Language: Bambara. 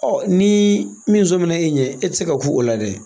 ni min sɔnminna e ɲɛ e tɛ se ku o la dɛ!